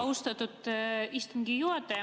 Austatud istungi juhataja!